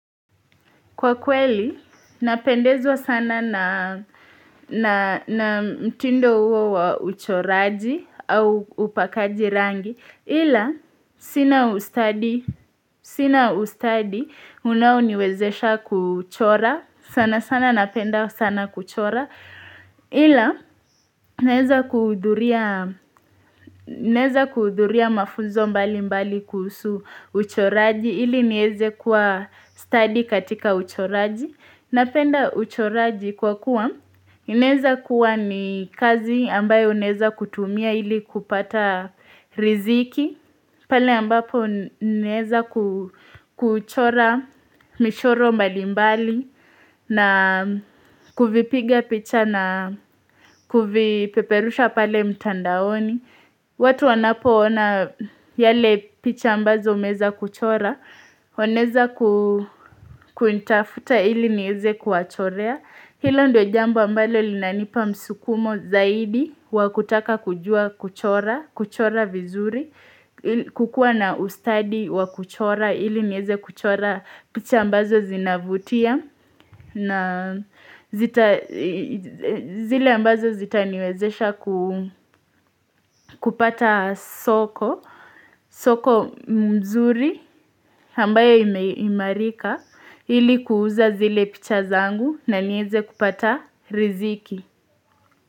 Kwa kweli, ninapendezwa sana na mtindo huo wa uchoraji au upakaji rangi. Ila, sina ustadi unaoniwezesha kuchora, sana sana napenda sana kuchora. Ila, ninaweza kuhudhuria mafunzo mbalimbali kuhusu uchoraji, ili niweze kuwa stadi katika uchoraji. Ninapenda uchoraji kwa kuwa, unaweza kuwa ni kazi ambayo unaweza kutumia ili kupata riziki, pale ambapo ninaweza kuchora michoro mbalimbali na kuvipiga picha na kuvipeperusha pale mtandaoni. Watu wanapoona zile picha ambazo nimeweza kuchora, wanaweza kunitafuta ili niweze kuwachorea. Hilo ndilo jambo ambalo linanipa msukumo zaidi wa kutaka kujua kuchora vizuri. Kukua na ustadi wa kuchora, ili niweze kuchora picha ambazo zinavutia. Na zile ambazo zitaniwezesha kupata soko nzuri ambalo limeirika ili kuuza zile picha zangu na niweze kupata riziki.